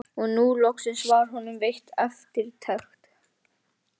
Og nú loksins var honum veitt eftirtekt.